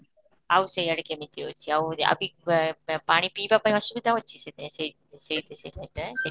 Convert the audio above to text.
ଆଉ ସେଇ ଆଡ଼େ କେମିତି ଅଛି, ଆଉ ଆଉ ଆଁ ପାଣି ପିଇବା ପାଇଁ ଅସୁବିଧା ହେଉଛି, ସେ ସେଇ ସେଇ ସେଇବାଟେ